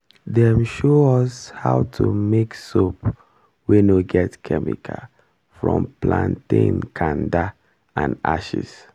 dem show us how to make soap wey no get chemical from plantain kanda and ashes